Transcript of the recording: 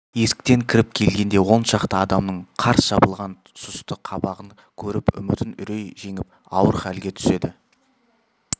есіктен кіріп келгенде он шақты адамның қарс жабылған сұсты қабағын көріп үмітін үрей жеңіп ауыр хәлге түседі